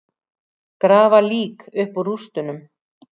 Grafa lík upp úr rústum